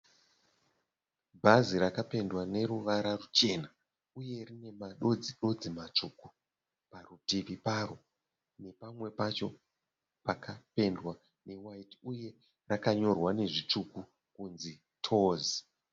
Bhazi rakapendwa neruvara ruchena uye rine madodzi dodzi matsvuku parutivi paro nepamwe pacho pakapendwa ne waiti uye rakanyorwa nezvitsvuku kunzi "Tours".